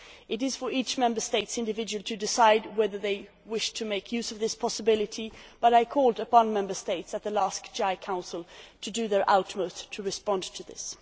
It is for each Member State to decide individually whether they wish to make use of this possibility, but I called on Member States at the last GA Council to do their utmost to respond to this.